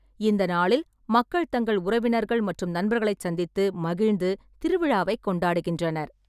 இந்த நாளில் மக்கள் தங்கள் உறவினர்கள் மற்றும் நண்பர்களைச் சந்தித்து மகிழ்ந்து திருவிழாவை கொண்டாடுகின்றனர்.